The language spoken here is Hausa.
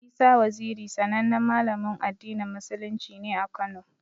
Isa Waziri sanannen Malamin addinin musulunci ne a Kano.